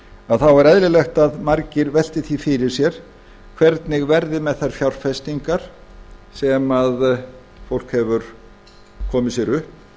að þá er eðlilegt að margir velti því fyrir sér hvernig verði með þær fjárfestingar sem fólk hefur komið sér upp